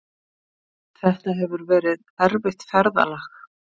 Þetta hefur verið erfitt ferðalag